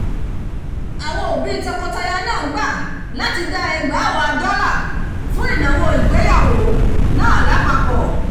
àwọn òbí tọkọtaya náà gbà láti dá ẹgbàáwàá dollar fún ìnáwó ìgbéyàwó náà lápapọ̀